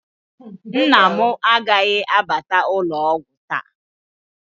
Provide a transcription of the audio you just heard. Nna m agaghị abata ụlọ ọgwụ taa